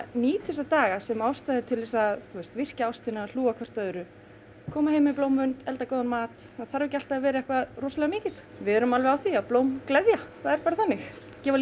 nýta þessa daga sem ástæða er til þess að virkja ástina og hlúa að hvort öðru koma heim með blómvönd elda góðan mat það þarf ekki alltaf að vera eitthvað rosalega mikið við erum á því að blóm gleðja það er bara þannig